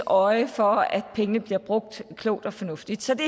øje for at pengene bliver brugt klogt og fornuftigt så det